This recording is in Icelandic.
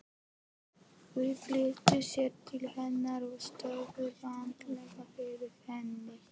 Þau flýttu sér til hennar og stóðu vandræðaleg yfir henni.